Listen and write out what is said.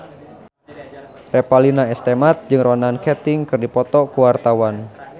Revalina S. Temat jeung Ronan Keating keur dipoto ku wartawan